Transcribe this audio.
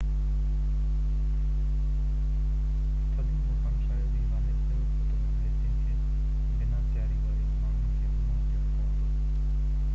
ٿڌي موسم شايد ئي واحد اهڙو خطرو آهي جنهن کي بنا تياري واري ماڻهن کي منهن ڏيڻو پوندو